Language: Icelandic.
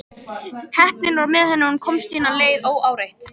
Heppnin var með henni og hún komst sína leið óáreitt.